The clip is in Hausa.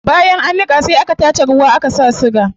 Bayan an niqa sai a tace ruwa a saka siga